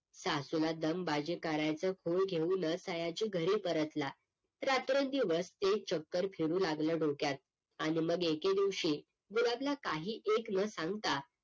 सासूला दमबाजी करायचं खूळ घेऊनच सयाजी घरी परतला रात्रंदिवस ते चक्र फिरू लागलं डोक्यात आणि मग एके दिवशी गुलाबला काही एक न सांगता